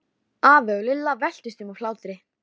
Gína andaði út úr sér bláum reyk og stundi.